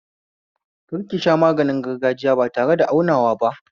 Kar kisha maganin gargajiya ba tareda aunawa ba